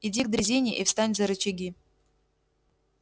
иди к дрезине и встань за рычаги